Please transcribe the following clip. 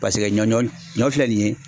Paseke ɲɔ ɲɔ ɲɔ filɛ nin ye